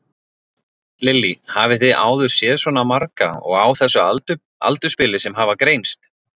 Lillý: Hafið þið áður séð svona marga og á þessu aldursbili sem hafa greinst?